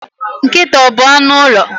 Nkịta ọ bu anụ ụlọ?